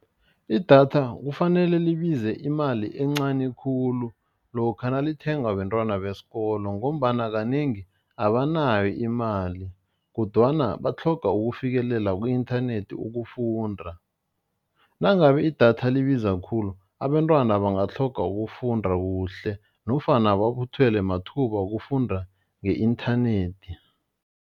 Idatha kufanele libize imali encani khulu lokha nalithengwa bentwana besikolo ngombana kanengi abanayo imali kodwana batlhoga ukufikelela ku-inthanethi ukufunda, nangabe idatha libiza khulu abentwana batlhoga ukufunda kuhle, nofana babuthelwe mathuba wokufunda nge-inthanethi.